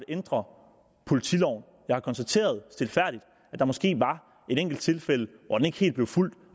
ændre politiloven jeg har konstateret stilfærdigt at der måske var et enkelt tilfælde hvor den ikke helt blev fulgt